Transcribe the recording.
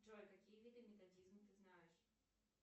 эжой какие виды методизм ты знаешь